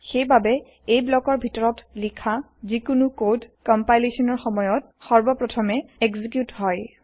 সেইবাবে এই ব্লকৰ ভিতৰত লিখা যিকোনো কড কম্পাইলেচনৰ সময়ত সৰ্বপ্ৰথমে এক্সিকিউত হয়